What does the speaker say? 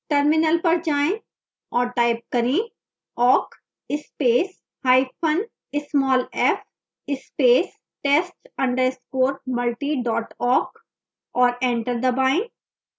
terminal पर जाएं और type करें awk space hyphen small f space test underscore multi dot awk और enter दबाएं